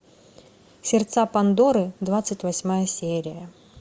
сердца пандоры двадцать восьмая серия